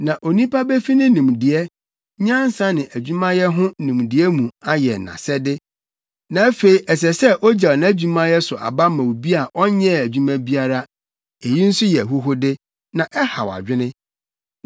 Na onipa befi ne nimdeɛ, nyansa ne adwumayɛ ho nimdeɛ mu ayɛ nʼasɛde, na afei ɛsɛ sɛ ogyaw nʼadwumayɛ so aba ma obi a ɔnyɛɛ adwuma biara. Eyi nso yɛ ahuhude, na ɛhaw adwene.